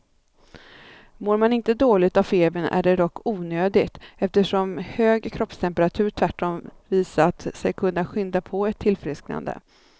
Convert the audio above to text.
Mår man inte dåligt av febern är det dock onödigt, eftersom hög kroppstemperatur tvärtom visat sig kunna skynda på ett tillfrisknande.